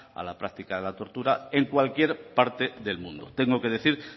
a la práctica de la tortura en cualquier parte del mundo tengo que decir